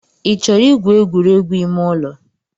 Ị chọrọ igwu egwuregwu ime ụlọ?